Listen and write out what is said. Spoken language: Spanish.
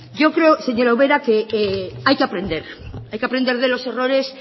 yo creo señora ubera que hay que aprender hay que aprender de los errores